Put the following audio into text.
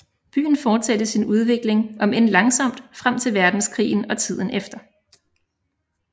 Byen fortsatte sin udvikling om end langsomt frem til verdenskrigen og tiden efter